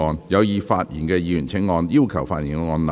有意發言的議員請按"要求發言"按鈕。